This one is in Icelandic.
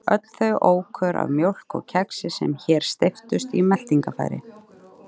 Öll þau ókjör af mjólk og kexi sem hér steyptust í meltingarfæri.